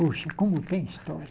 Puxa, como tem história?